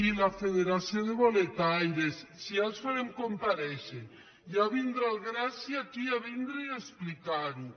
i la fe·deració de boletaires sí ja els farem comparèixer ja vindrà el gràcia aquí a explicar·ho